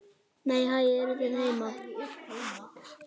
Nei, hæ, eruð þið heima!